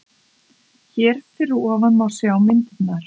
Hér fyrir ofan má sjá myndirnar